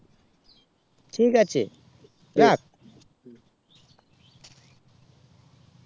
ঠিক আছে রাখ